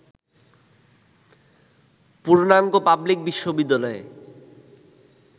পূর্ণাঙ্গ পাবলিক বিশ্ববিদ্যালয়ে